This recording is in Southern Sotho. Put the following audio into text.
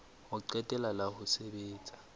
ho qetela la ho sebetsa